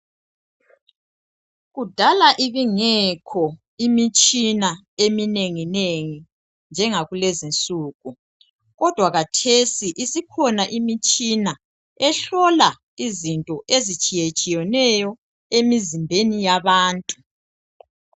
Kudala ibingekho imitshina eminengi nengi njengakulezi nsuku kodwa kathesi isikhona imitshina ehlola izinto ezitshiyetshiyeneyo emizimbeni yabantu.